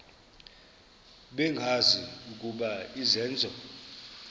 bengazi ukuba izenzo